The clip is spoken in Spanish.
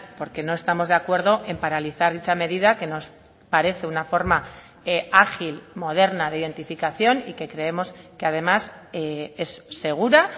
porque no estamos de acuerdo en paralizar dicha medida que nos parece una forma ágil moderna de identificación y que creemos que además es segura